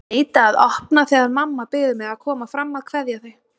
Neita að opna þegar mamma biður mig að koma fram að kveðja þau.